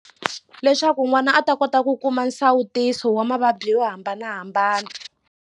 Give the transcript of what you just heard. Leswaku n'wana a ta kota ku kuma nsawutiso wa mavabyi yo hambanahambana.